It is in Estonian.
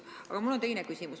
Aga mul on teine küsimus.